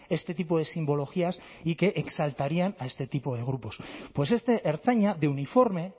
este tipo de simbologías y que exaltarían a este tipo de grupos pues este ertzaina de uniforme